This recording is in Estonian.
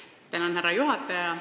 Tänan, härra juhataja!